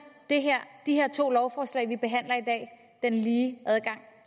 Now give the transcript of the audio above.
de her to lovforslag vi behandler i dag den lige adgang